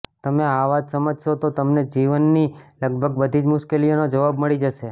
તમે આ વાત સમજશો તો તમને જીવનની લગભગ બધી જ મુશ્કેલીઓનો જવાબ મળી જશે